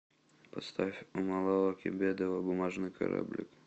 поставь умалава кебедова бумажный кораблик